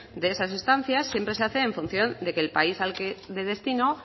de esas estancias siempre se hace en función de que el país de destino